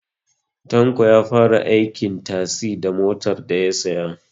Tanko ya fara aikin tazi da motar daya saya